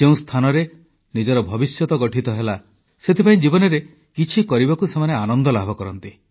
ଯେଉଁ ସ୍ଥାନରେ ନିଜର ଭବିଷ୍ୟତ ଗଠନ ହେଲା ସେଥିପାଇଁ ଜୀବନରେ କିଛି କରିବାକୁ ସେମାନେ ଆନନ୍ଦ ଲାଭ କରନ୍ତି